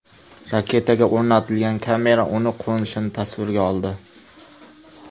Raketaga o‘rnatilgan kamera uning qo‘nishini tasvirga oldi .